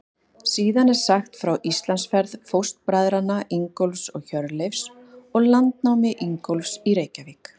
Síðan er sagt frá Íslandsferð fóstbræðranna Ingólfs og Hjörleifs og landnámi Ingólfs í Reykjavík.